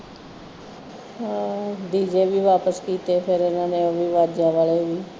ਹਾਂ D J ਵੀ ਵਾਪਿਸ ਕਿੱਤੇ ਫਿਰ ਇਹਨਾਂ ਨੇ ਐਵੀਂ ਵਾਜਾ ਲਾਇਆ ਹੀ